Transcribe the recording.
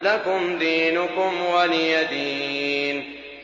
لَكُمْ دِينُكُمْ وَلِيَ دِينِ